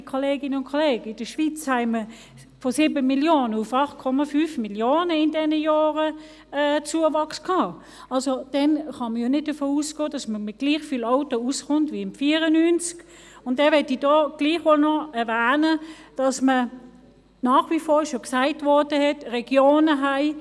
Ja, liebe Kolleginnen und Kollegen, in der Schweiz hatten wir in diesen Jahren einen Zuwachs von 7 Mio. auf 8,5 Mio. Also: Dann kann man ja nicht davon ausgehen, dass man mit gleich vielen Autos auskommt wie 1994, und dann möchte ich hier gleichwohl noch erwähnen, dass wir nach wie vor Regionen haben, die keinen ÖV haben;